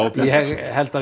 ég held að